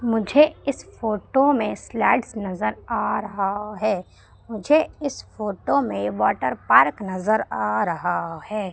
मुझे इस फोटो में स्लाइड्स नजर आ रहा है मुझे इस फोटो में वाटर पार्क नजर आ रहा है।